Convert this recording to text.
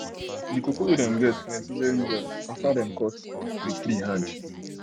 the cocoa wey dem get plenty well well after dem cut tree hand